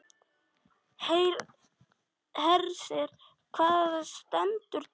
Hersir, hvað stendur til?